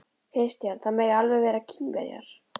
Kristján: Það mega alveg vera Kínverjar?